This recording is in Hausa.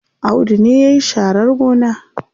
Audu ne yayi sharar gona.